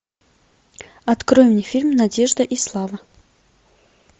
открой мне фильм надежда и слава